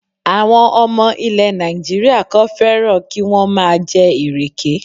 Àwọn ọmọ ilè Nàìjíríà kan fẹ́ràn kí wọ́n má a jẹ ìrèké